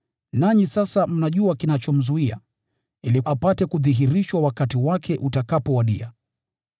Nanyi sasa mnajua kinachomzuia, ili apate kudhihirishwa wakati wake utakapowadia.